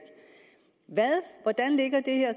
hvordan ligger det her